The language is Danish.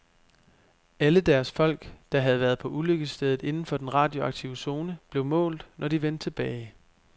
Alle deres folk, der havde været på ulykkesstedet inden for den radioaktive zone, blev målt, når de vendte tilbage.